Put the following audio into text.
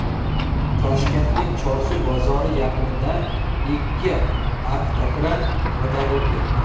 Toshkentning Chorsu bozori yaqinida ikki avtokran ag‘darilib ketdi.